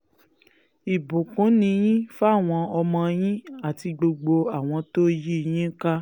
ìbùkún ni yín fáwọn ọmọ yín àti gbogbo àwọn tó yí yín ká